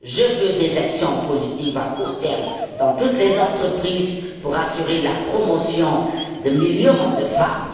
Je veux des actions positives à court terme dans toutes les entreprises pour assurer la promotion de millions de femmes.